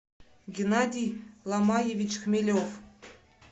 геннадий ломаевич хмелев